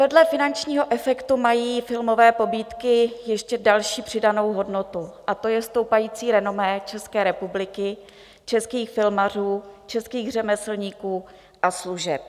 Vedle finančního efektu mají filmové pobídky ještě další přidanou hodnotu, a to je stoupající renomé České republiky, českých filmařů, českých řemeslníků a služeb.